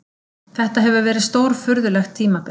Þetta hefur verið stórfurðulegt tímabil.